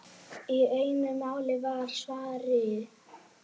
Í einu málanna var Svavari